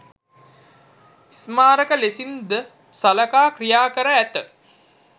ස්මාරක ලෙසින් ද සළකා ක්‍රියා කර ඇත.